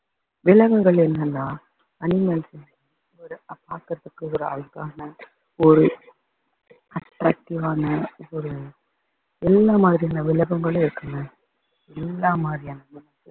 விலங்குகள் என்னன்னா animals ஒரு பாக்குறதுக்கு ஒரு அழகான ஒரு attractive ஆன ஒரு எல்லா மாதிரியான விலங்குகளும் இருக்குங்க எல்லா மாதிரியான விலங்குகளும்